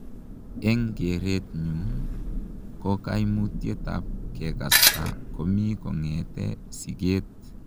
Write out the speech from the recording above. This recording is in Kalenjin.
Eng kereet nyuun ko kaimutiet ap kekastaa komii kongetee sigeet.